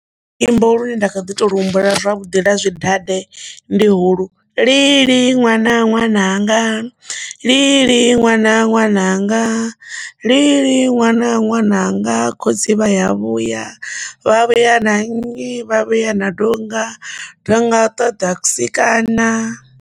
Luimbo lune nda kha ḓi to lu humbula zwavhuḓi ḽa zwi dade ndi huhulu "lili ṅwana ṅwananga, lili ṅwana, ṅwananga lili ṅwana ṅwananga khotsi vha ya vhuya vha vhuya na nnyi vha vhuya na donga, donga ṱoḓa kusikana".